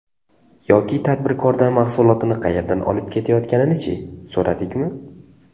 Yoki tadbirkordan mahsulotini qayerdan olib kelayotganini-chi, so‘radikmi?